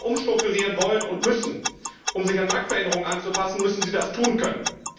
Denn wenn Firmen umstrukturieren wollen und müssen, um sich an Marktveränderungen anzupassen, müssen sie das tun können.